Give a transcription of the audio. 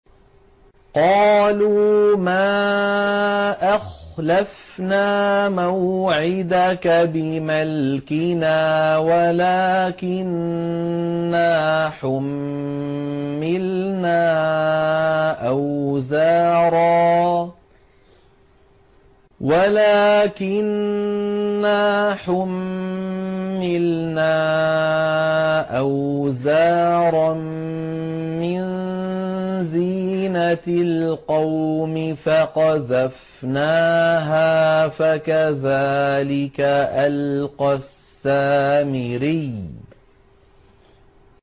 قَالُوا مَا أَخْلَفْنَا مَوْعِدَكَ بِمَلْكِنَا وَلَٰكِنَّا حُمِّلْنَا أَوْزَارًا مِّن زِينَةِ الْقَوْمِ فَقَذَفْنَاهَا فَكَذَٰلِكَ أَلْقَى السَّامِرِيُّ